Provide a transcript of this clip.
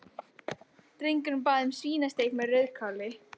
Drengurinn bað um svínasteik með rauðkáli.